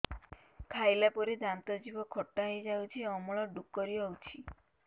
ଖାଇଲା ପରେ ଦାନ୍ତ ଜିଭ ଖଟା ହେଇଯାଉଛି ଅମ୍ଳ ଡ଼ୁକରି ହଉଛି